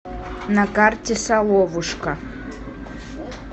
на карте соловушка